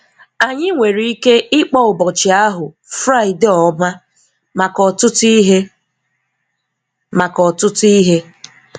Anyị nwere ike ịkpọ ụbọchị ahụ "Fraịdee ọma" maka ọtụtụ ihe. maka ọtụtụ ihe.